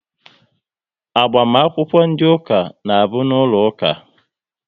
Agbamakwụkwọ dị ụka na bụ n'ụlọ ụka